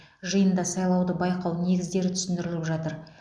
жиында сайлауды байқау негіздері түсіндіріліп жатыр